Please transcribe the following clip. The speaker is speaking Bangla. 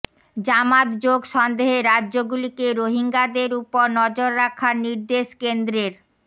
জামাত যোগ সন্দেহে রাজ্যগুলিকে রোহিঙ্গাদের উপর নজর রাখার নির্দেশ কেন্দ্রের